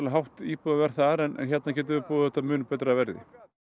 hátt íbúðaverð þar en hérna getum við boðið þetta á mun betra verði